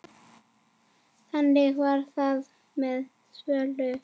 Þannig var það með Svövu.